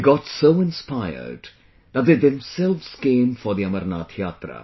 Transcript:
They got so inspired that they themselves came for the Amarnath Yatra